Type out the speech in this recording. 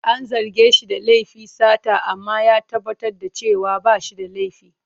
An zarge shi da laifin sata amma ya tabbatar da cewa ba shi da laifi.